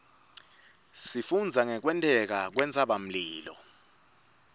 sifundza ngekwenteka kwentsabamlilo